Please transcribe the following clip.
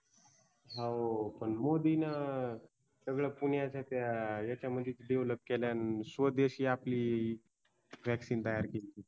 हो पण मोदीन सगळ पुण्याच्या त्या ह्याच्यामधेच DEVELOP केलं स्वदेशी आपली VACCINE तयार केलती